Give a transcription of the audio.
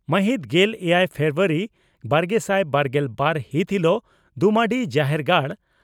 ᱢᱟᱹᱦᱤᱛ ᱜᱮᱞ ᱮᱭᱟᱭ ᱯᱷᱮᱵᱨᱟᱣᱟᱨᱤ ᱵᱟᱨᱜᱮᱥᱟᱭ ᱵᱟᱨᱜᱮᱞ ᱵᱟᱨ ᱦᱤᱛ ᱦᱤᱞᱚᱜ ᱫᱩᱢᱟᱰᱤ ᱡᱟᱦᱮᱨᱜᱟᱲ